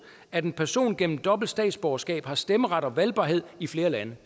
at en person gennem dobbelt statsborgerskab har stemmeret og valgbarhed i flere lande